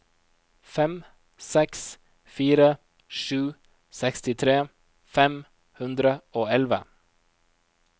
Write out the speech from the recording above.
fem seks fire sju sekstitre fem hundre og elleve